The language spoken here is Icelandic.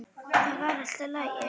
Það var allt í lagi.